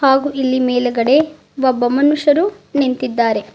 ಹಾಗು ಇಲ್ಲಿ ಮೇಲ್ಗಡೆ ಒಬ್ಬ ಮನುಷ್ಯರು ನಿಂತಿದ್ದಾರೆ.